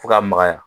Fo ka magaya